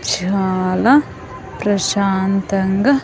చాలా ప్రశాంతంగా.